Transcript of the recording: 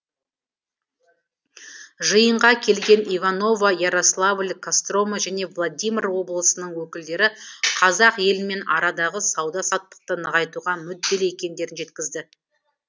жиынға келген иваново ярославль кострома және владимир облысының өкілдері қазақ елімен арадағы сауда саттықты нығайтуға мүдделі екендерін жеткізді